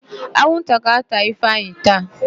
Anwụnta ga-átà Ifeanyị taa.